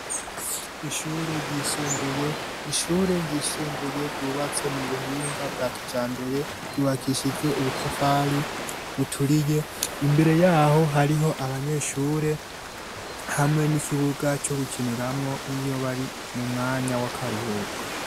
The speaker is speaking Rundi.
ishure ryisumbuye ryubatse mu buhinga bwa kijambere ryubakishijwe ubutafari buturiye . Imbere yaho hariho abanyeshure hamwe n'ikibuga co gukiniramwo iyo bari mu mwanya w'akaruhuko